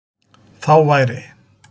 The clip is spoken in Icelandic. Þá væri